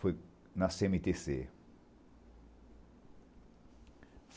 Foi na cê eme tê cê.